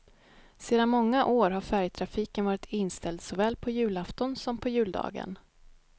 Sedan många år har färjetrafiken varit inställd såväl på julafton som på juldagen.